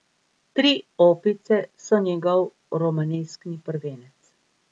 Tri opice so njegov romaneskni prvenec.